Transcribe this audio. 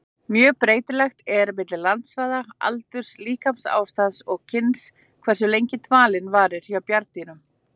Mjög breytilegt er milli landsvæða, aldurs, líkamsástands og kyns hversu lengi dvalinn varir hjá bjarndýrum.